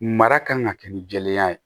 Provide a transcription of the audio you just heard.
Mara kan ka kɛ ni jɛlenya ye